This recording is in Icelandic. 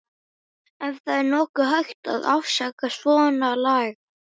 Ef það er nokkuð hægt að afsaka svonalagað.